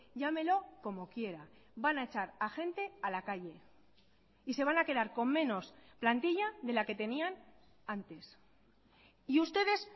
llámelo como quiera van a echar a gente a la calle y se van a quedar con menos plantilla de la que tenían antes y ustedes